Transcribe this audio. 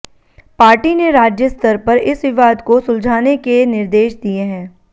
party ने राज्य स्तर पर इस विवाद को सुलझाने के निर्देश दिए हैं